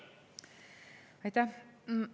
Aitäh!